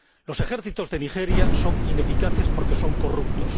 Los ejércitos de Nigeria son ineficaces porque son corruptos.